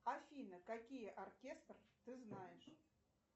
афина какие оркестры ты знаешь